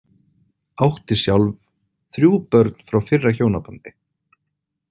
Átti sjálf þrjú börn frá fyrra hjónabandi.